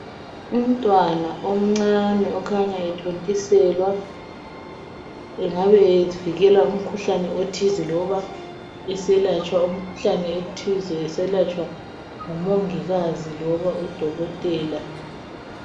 Umtwana omncane okhanya ethontiselwa. Engabe evikela umkhuhlane othize loba eselatshwa umkhuhlane ethize esalatshwa ngomongikazi loba udokotela.